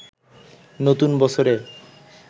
নতুন বছরে